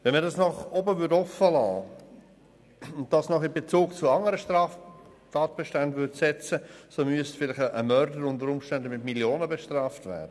Wenn man den Betrag nach oben offen liesse und dies in Bezug zu anderen Straftatbeständen setzen würde, müsste ein Mörder unter Umständen mit einem Millionenbetrag gebüsst werden.